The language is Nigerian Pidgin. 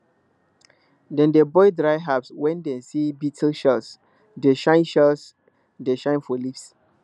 dem dey burn dry herbs when dem see beetle shells dey shine shells dey shine for leaves